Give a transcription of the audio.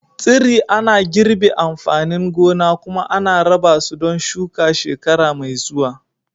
tsiri ana girbe amfanin gona kuma ana raba su don shuka shekara mai zuwa